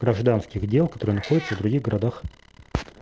гражданских дел которые находятся в других городах